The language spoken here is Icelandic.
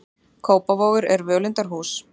Kópavogur er völundarhús.